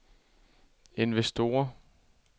investorer